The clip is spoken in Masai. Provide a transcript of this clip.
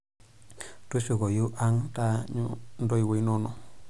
Tushukoi ang' taanyu ntoiwuo inono.